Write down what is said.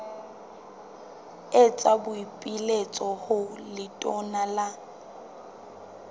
etsa boipiletso ho letona la